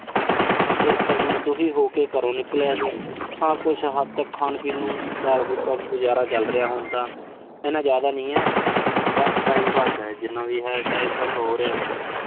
ਇਸ ਕਰਕੇ ਮੈਂ ਦੁਖੀ ਹੋ ਕੇ ਘਰੋਂ ਨਿਕਲਿਆ ਸੀ। ਹਾਂ ਕੁਸ਼ ਹੱਦ ਤੱਕ ਖਾਣ-ਪੀਣ ਨੂੰ, ਦਾਲ-ਫੁਲਕਾ ਗੁਜ਼ਾਰਾ ਚੱਲ ਰਿਹਾ ਹੁਣ ਤਾਂ। ਇੰਨਾ ਜ਼ਿਆਦਾ ਨਹੀਂ ਐ। ਬਸ time pass ਆ, ਜਿੰਨਾ ਵੀ ਆ। time pass ਹੋ ਰਿਹਾ ਬਸ।